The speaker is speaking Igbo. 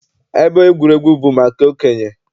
Ebe egwuregwu bụ maka okenye?